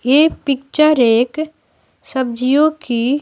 ये पिक्चर एक सब्जियों की--